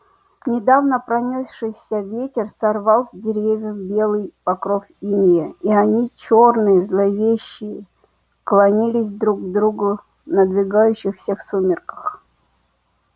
недавно пронёсшийся ветер сорвал с деревьев белый покров инея и они чёрные зловещие клонились друг к другу в надвигающихся сумерках